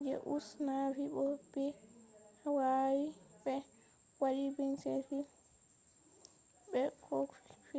je us navy bo bevi be wawi be wadi bincike je koh fe’i